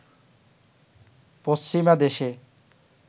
পশ্চিমা দেশে